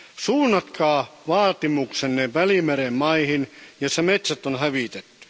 Suunnatkaa vaatimuksenne Välimeren maihin, joissa metsät on hävitetty.